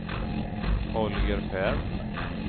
Holger Ferm